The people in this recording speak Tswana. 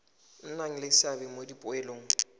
nna le seabe mo dipoelong